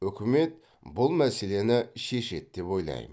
үкімет бұл мәселені шешеді деп ойлаймын